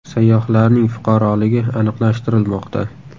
Sayyohlarning fuqaroligi aniqlashtirilmoqda.